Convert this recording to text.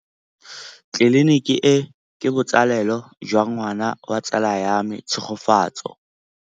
Tleliniki e, ke botsalêlô jwa ngwana wa tsala ya me Tshegofatso.